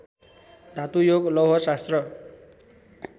धातुयोग लौहशास्त्र